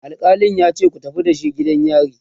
alkalin yace"ku tafi da shi gidan yari!"